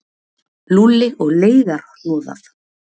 Lúlli og leiðarhnoðað